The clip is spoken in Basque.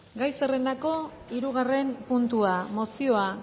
gai zerrendako hirugarren puntua mozioa